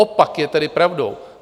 Opak je tedy pravdou.